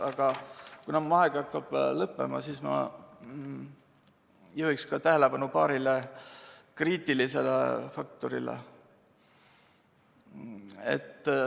Aga kuna mu aeg hakkab lõppema, siis ma juhin tähelepanu ka paarile kriitilisele faktorile.